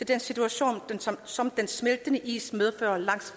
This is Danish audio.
den situation som den smeltende is medfører langs